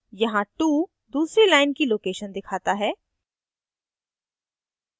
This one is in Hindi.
यहाँ 2 दूसरी line की location दिखाता है